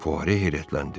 Puare heyrətləndi.